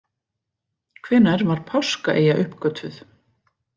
Hvenær var Páskaeyja uppgötvuð?